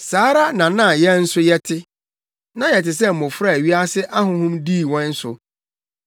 Saa ara na na yɛn nso yɛte. Na yɛte sɛ mmofra a wiase ahonhom dii yɛn so.